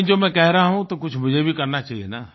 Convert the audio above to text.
लेकिन जो मैं कह रहा हूँ तो कुछ मुझे भी करना चाहिये न